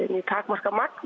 takmarkað magn